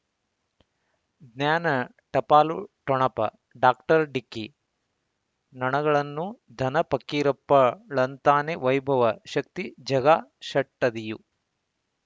ಜ್ಞಾನ ಟಪಾಲು ಠೊಣಪ ಡಾಕ್ಟರ್ ಢಿಕ್ಕಿ ಣನಗಳನು ಧನ ಫಕೀರಪ್ಪ ಳಂತಾನೆ ವೈಭವ ಶಕ್ತಿ ಝಗಾ ಷಟ್ಟದಿಯು